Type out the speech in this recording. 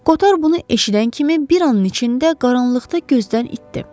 Koter bunu eşidən kimi bir anın içində qaranlıqda gözdən itdi.